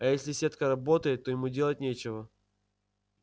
а если сетка работает то ему делать нечего